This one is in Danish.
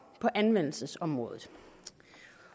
på anvendelsesområdet